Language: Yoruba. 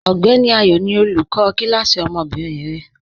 Ọgbẹni Ayọ ni olúkọ̀ kilasí ọmọ́bìnrin rẹ.